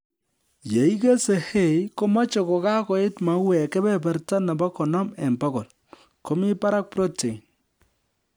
Yeikesei hay komeche kokakoit mauek kebeberta nebo konom eng bokol ,Komii barak protein